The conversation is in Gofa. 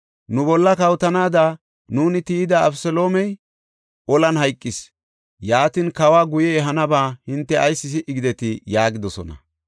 Nu bolla kawotanaada nuuni tiyida Abeseloomey olan hayqis. Yaatin, kawa guye ehanaba hinte ayis si77i gidetii?” yaagidosona.